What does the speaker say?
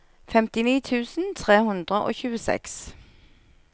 femtini tusen tre hundre og tjueseks